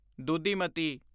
ਦੁਧੀਮਤੀ